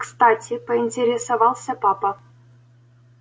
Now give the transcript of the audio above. кстати поинтересовался папа